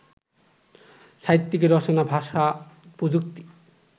সাহিত্যিকের রচনা ভাষা-প্রযুক্তি